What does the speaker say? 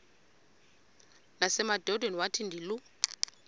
nasemadodeni wathi ndilu